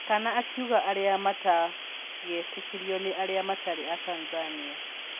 Kana akiuga arĩa matagetĩkĩrio nĩ arĩa matarĩ a Tanzania